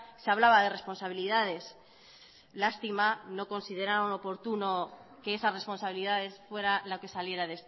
se hablaba de responsabilidades lástima no consideraron oportuno que esas responsabilidades fuera la que saliera